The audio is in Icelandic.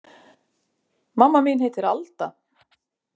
Mamma mín heitir Alda.